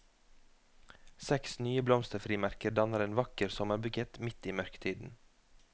Seks nye blomsterfrimerker danner en vakker sommerbukett midt i mørketiden.